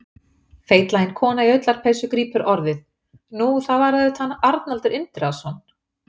Feitlagin kona í ullarpeysu grípur orðið: Nú, það var auðvitað hann Arnaldur Indriðason.